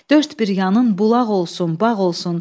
Dörd bir yanın bulaq olsun, bağ olsun.